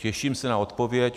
Těším se na odpověď.